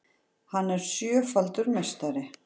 Hann er sjöfaldur meistari